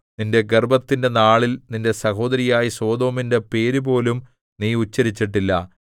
നിന്റെ ഗർവ്വത്തിന്റെ നാളിൽ നിന്റെ സഹോദരിയായ സൊദോമിന്റെ പേരുപോലും നീ ഉച്ചരിച്ചിട്ടില്ല